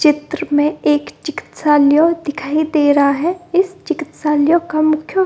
चित्र में एक चिकित्सालय दिखाई दे रहा है इस चिकित्सालय का मुख्य --